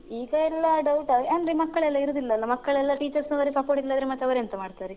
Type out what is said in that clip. ಈಗ ಎಲ್ಲಾ doubt ಅಂದ್ರೆ ಮಕ್ಕಳೆಲ್ಲ ಇರುದಿಲ್ಲ ಅಲ ಮಕ್ಕಳೆಲ್ಲ teachers ನವರೆ supportive ಇಲ್ಲದ್ರೆ ಮತ್ತೆ ಅವರೆಂತ ಮಾಡ್ತಾರೆ.